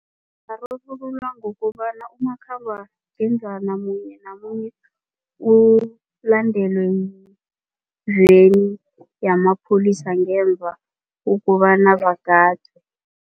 Ungararululwa ngokobana umakhambangendlwana munye namunye ulandelwe yiveni yamapholisa ngemva kobana bagadwe.